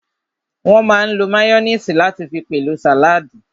Wọ́n máa n lo máyóníìsì láti fi pèlò sàládì